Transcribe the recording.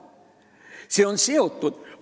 Need on seotud.